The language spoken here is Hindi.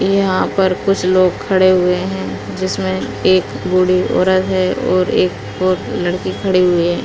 यहाँ पर कुछ लोग खड़े हुए हैं जिसमें एक बूढ़ी औरत है और एक और लड़की खड़ी हुई है।